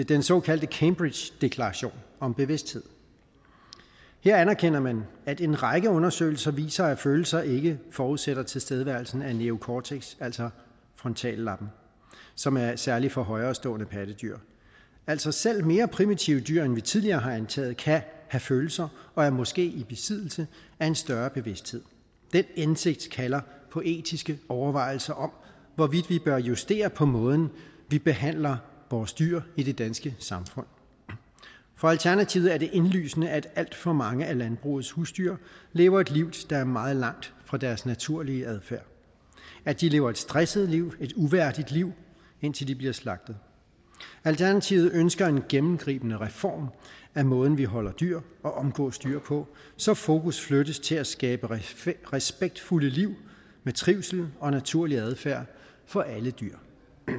den såkaldte cambridgedeklaration om bevidsthed her anerkender man at en række undersøgelser viser at følelser ikke forudsætter tilstedeværelsen af neocortex altså frontallappen som er særlig for højerestående pattedyr altså selv mere primitive dyr end vi tidligere har antaget kan have følelser og er måske i besiddelse af en større bevidsthed den indsigt kalder på etiske overvejelser om hvorvidt vi bør justere på måden vi behandler vores dyr i det danske samfund for alternativet er det indlysende at alt for mange af landbrugets husdyr lever et liv der er meget langt fra deres naturlige adfærd at de lever et stresset liv et uværdigt liv indtil de bliver slagtet alternativet ønsker en gennemgribende reform af måden vi holde dyr og omgås dyr på så fokus flyttes til at skabe respektfulde liv med trivsel og naturlig adfærd for alle dyr